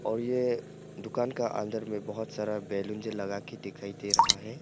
और ये दुकान का अंदर में बहोत सारा बैलून जे लगा के दिखाई दे रहा है।